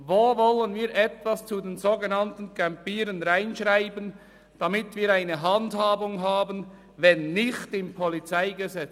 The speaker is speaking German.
Wo wollen wir etwas zu den sogenannten Campierenden reinschreiben, damit wir eine Handhabung haben, wenn nicht im PolG?